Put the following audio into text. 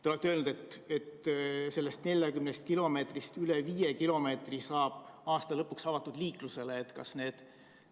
Te olete öelnud, et sellest 40 kilomeetrist üle 5 kilomeetri saab aasta lõpuks liikluseks avatud.